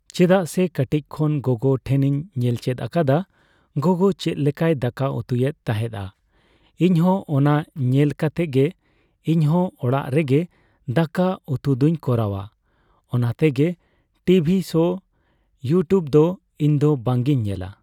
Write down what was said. ᱪᱮᱫᱟᱜ ᱥᱮ ᱠᱟᱹᱴᱤᱡ ᱠᱷᱚᱱ ᱜᱚᱜᱚ ᱴᱷᱮᱱᱤᱧ ᱧᱮᱞ ᱪᱮᱫ ᱟᱠᱟᱫᱟ, ᱜᱚᱜᱚ ᱪᱮᱫ ᱞᱮᱠᱟᱭ ᱫᱟᱠᱟ ᱩᱛᱩᱭᱮᱫ ᱛᱟᱦᱮᱸᱫᱼᱟ ᱤᱧᱦᱚᱸ ᱚᱱᱟ ᱧᱮᱞ ᱠᱟᱛᱮᱜ ᱜᱮ ᱤᱧᱦᱚ ᱚᱲᱟᱜ ᱨᱮᱜᱮ ᱫᱟᱠᱟ ᱩᱛᱩ ᱫᱚᱧ ᱠᱚᱨᱟᱣᱟ, ᱚᱱᱟ ᱛᱮᱜᱮ ᱴᱤᱵᱷᱤ ᱥᱳ ᱤᱭᱩᱴᱤᱭᱩᱵᱽ ᱫᱚ ᱤᱧᱫᱚ ᱵᱟᱝᱼᱤᱧ ᱧᱮᱞᱟ ᱾